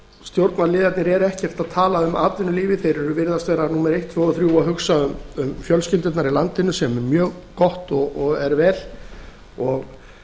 stjórnarliðarnir eru ekkert að tala um atvinnulífið þeir virðast vera númer eitt tvö og þrjú að hugsa um fjölskyldurnar í landinu sem er mjög gott og er vel að